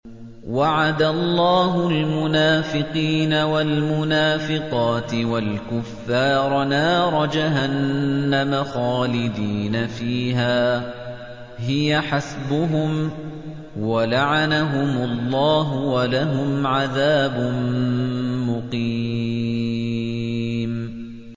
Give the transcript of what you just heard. وَعَدَ اللَّهُ الْمُنَافِقِينَ وَالْمُنَافِقَاتِ وَالْكُفَّارَ نَارَ جَهَنَّمَ خَالِدِينَ فِيهَا ۚ هِيَ حَسْبُهُمْ ۚ وَلَعَنَهُمُ اللَّهُ ۖ وَلَهُمْ عَذَابٌ مُّقِيمٌ